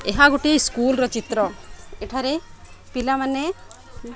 ଏହା ଗୋଟେ ସ୍କୁଲ ର ଚିତ୍ର ଏଠାରେ ପିଲାମାନେ --